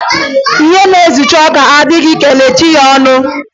Ehi na-ezicha ọka, a dịghị ekechi ya ọnụ